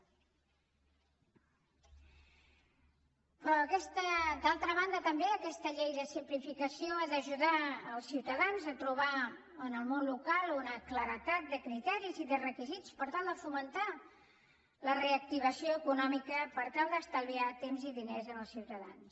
però d’altra banda també aquesta llei de simplificació ha d’ajudar els ciutadans a trobar en el món local una claredat de criteris i de requisits per tal de fomentar la reactivació econòmica per tal d’estalviar temps i diners als ciutadans